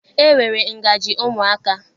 E nwere ngaji ụmụaka